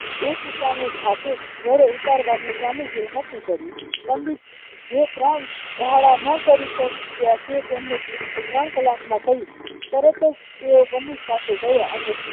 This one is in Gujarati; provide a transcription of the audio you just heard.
એક એકા ને જાતે ગળે ઉતારવાનું સ્વામીજીએ નક્કી કર્યું પંડિત જીએ ત્રણ દાડા ના કરી શક્ય તે તેમને ત્રણ કલાક માં કહ્યું તરતજ તેઓ પાસે ગયા